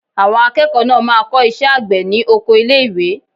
Àwọn akẹ́kọ̀ọ́ náà máa kọ́ iṣẹ́ àgbẹ̀ ní oko ilé ìwé.